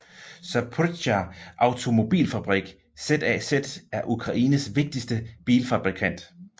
Zaporizjzja Automobilfabrik ZAZ er Ukraines vigtigste bilfabrikant